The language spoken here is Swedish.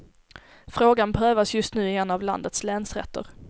Frågan prövas just nu i en av landets länsrätter.